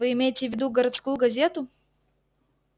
вы имеете в виду городскую газету